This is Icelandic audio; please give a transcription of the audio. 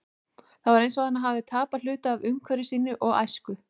Það var eins og hann hefði tapað hluta af umhverfi sínu og æsku.